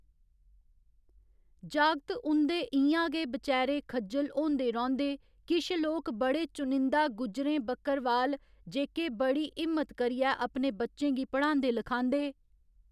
जागत उं'दे इ'यां गै बचैरे खज्जल होंदे रौंह्‌दे किश लोक बड़े चुनिंदा गुजरें बकरबाल जेह्‌के बड़ी हिम्मत करियै अपने बच्चें गी पढ़ांदे लखांदे